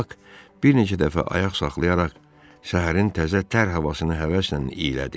Bak bir neçə dəfə ayaq saxlayaraq səhərin təzə tər havasını həvəslə iylədi.